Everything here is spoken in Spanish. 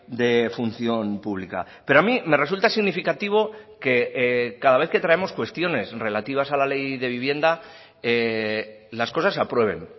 de función pública pero a mí me resulta significativo que cada vez que traemos cuestiones relativas a la ley de vivienda las cosas se aprueben